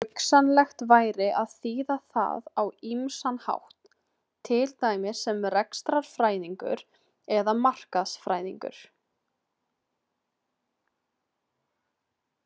Hugsanlegt væri að þýða það á ýmsan hátt, til dæmis sem rekstrarfræðingur eða markaðsfræðingur.